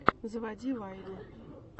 заводи вайны